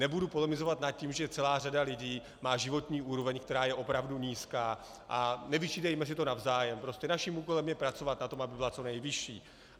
Nebudu polemizovat nad tím, že celá řada lidí má životní úroveň, která je opravdu nízká, a nevyčítejme si to navzájem, prostě naším úkolem je pracovat na tom, aby byla co nejvyšší.